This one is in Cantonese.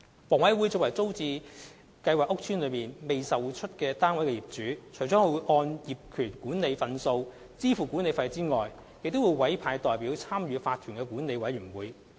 房委會作為租置屋邨內未出售單位的業主，除根據大廈公契就有關業權管理份數支付管理費外，亦會委派代表參與法團的管委會。